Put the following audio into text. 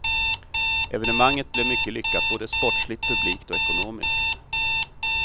Evenemanget blev mycket lyckat både sportsligt, publikt och ekonomiskt.